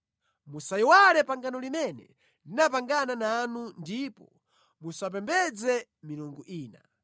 Musayiwale pangano limene ndinapangana nanu ndipo musamapembedze milungu ina.